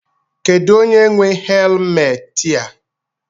Kedụ onye nwe helmetị a?